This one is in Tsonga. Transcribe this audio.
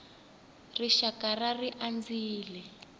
rixakara ri andzile